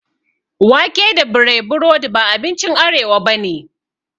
Wake da breaburodi ba abinci arewa bane